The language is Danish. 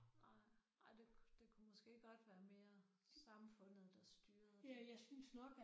Nej nej det det kunne måske godt være mere samfundet der styrede det